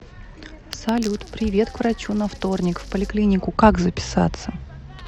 салют привет к врачу на вторник в поликлинику как записаться